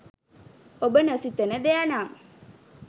ඔබ නොසිතන දෙයනම්